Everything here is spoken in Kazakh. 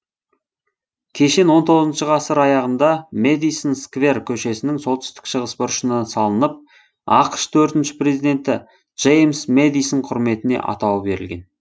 кешен он тоғызыншы ғасыр аяғында мэдисон сквер көшесінің солтүстік шығыс бұрышына салынып ақш төртінші президенті джеймс мэдисон құрметіне атауы берілген